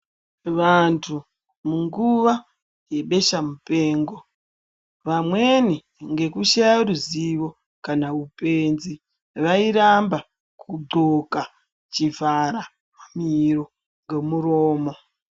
Vantu munguva yebesha mupengo vamweni ngekushaye ruzivo kana upenzi vairamba kudxoka chivhara miro ngomuromo.